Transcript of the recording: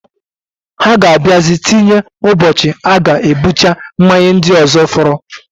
Ha ga abiazi tinye ụbochi aga ebucha mmanya ndi ozo foro.